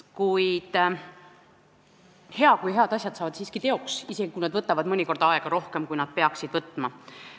Kuid hea, kui head asjad saavad siiski teoks, isegi kui nad võtavad mõnikord aega rohkem, kui nad peaksid võtma.